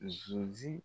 Zuzi